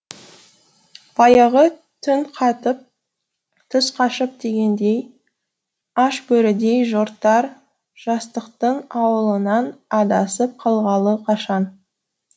баяғы түн қатып түс қашып дегендей аш бөрідей жортар жастықтың ауылынан адасып қалғалы қашан